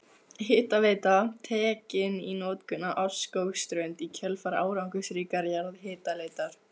Hitaveita tekin í notkun á Árskógsströnd í kjölfar árangursríkrar jarðhitaleitar.